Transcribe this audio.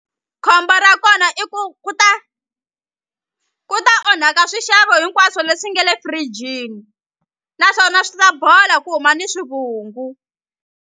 Khombo ra kona i ku ku ta ku ta onhaka swixavo hinkwaswo leswi nge le firijini naswona swi ta bola ku huma ni swivungu.